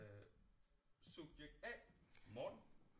Øh subjekt A Morten